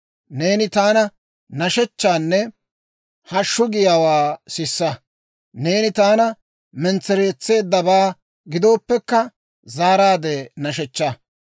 Neeni taana nashshechchaanne hashshu giyaawaa sisa; neeni taana mentsereetseeddabaa gidooppekka, zaaraadde nashshechchaa.